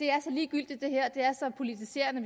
er så ligegyldigt og så politiserende